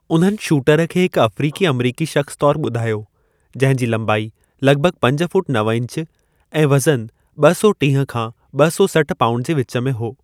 उन्हनि शूटर खे हिकु अफ़्रीकी-अमरीकी शख़्स तौरु ॿुधायो, जंहिं जी लंबाई लॻभॻि पंज फ़ुट नव इंच ऐं वज़नु ॿ सौ टीह खां ॿ सौ सठि पाउंड जे विच में हो।